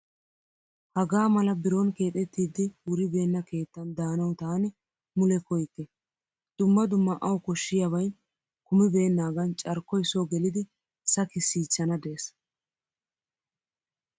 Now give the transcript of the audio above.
Hagaa mala biron keexettiddi wuribeenna keettan daanawu taani mule koyyikke. Dumma dumma awu koshshiyaabayi kumibeennaagan carkkoyi soo gelidi sakissichchana des.